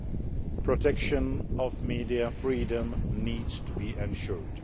The protection of media freedom needs to be ensured.